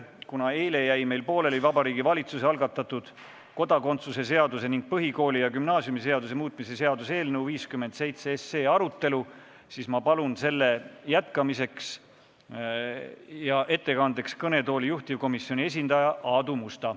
Kuna eile jäi meil pooleli Vabariigi Valitsuse algatatud kodakondsuse seaduse ning põhikooli- ja gümnaasiumiseaduse muutmise seaduse eelnõu 57 arutelu, siis ma palun selle jätkamiseks ja ettekandeks kõnetooli juhtivkomisjoni esindaja Aadu Musta.